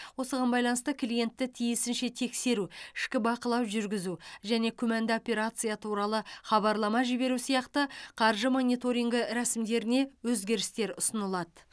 осыған байланысты клиентті тиісінше тексеру ішкі бақылау жүргізу және күмәнді операция туралы хабарлама жіберу сияқты қаржы мониторингі рәсімдеріне өзгерістер ұсынылады